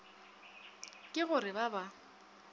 ke go re ba ba